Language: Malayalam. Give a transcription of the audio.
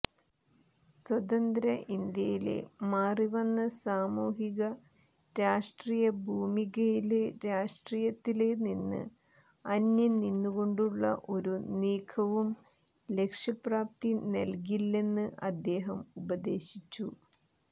സ്വതന്ത്ര ഇന്ത്യയിലെ മാറിവന്ന സാമൂഹിക രാഷ്ട്രീയഭൂമികയില് രാഷ്ട്രീയത്തില് നിന്ന് അന്യം നിന്നുകൊണ്ടുള്ള ഒരു നീക്കവും ലക്ഷ്യപ്രാപ്തി നല്കില്ലെന്ന് അദ്ദേഹം ഉപദേശിച്ചു